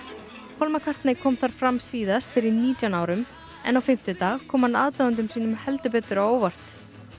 paul McCartney kom þar fram síðast fyrir nítján árum en á fimmtudag kom hann aðdáendum sínum heldur betur á óvart